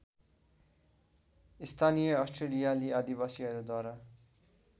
स्थानीय अस्ट्रेलियाली आदिवासीहरूद्वारा